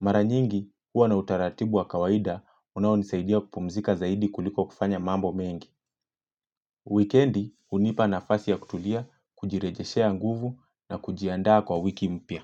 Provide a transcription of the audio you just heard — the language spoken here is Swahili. Mara nyingi, huwa na utaratibu wa kawaida unaonisaidia kupumzika zaidi kuliko kufanya mambo mengi. Weekendi, hunipa nafasi ya kutulia, kujirejeshea nguvu na kujiandaa kwa wiki mpya.